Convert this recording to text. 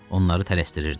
Onları tələsdirirdi.